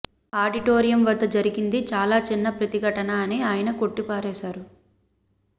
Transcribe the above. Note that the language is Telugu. ఆడిటో రియం వద్ద జరిగింది చాలా చిన్న ప్రతిఘటన అని ఆయన కొట్టిపారేశారు